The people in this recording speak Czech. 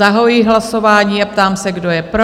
Zahajuji hlasování a ptám se, kdo je pro?